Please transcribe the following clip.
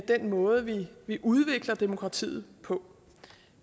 den måde vi udvikler demokratiet på